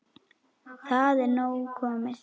Það er nóg komið.